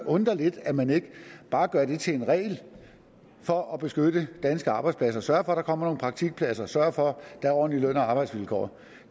undre lidt at man ikke bare gør det til en regel for at beskytte danske arbejdspladser sørge for at der kommer nogle praktikpladser sørge for at der er ordentlige løn og arbejdsvilkår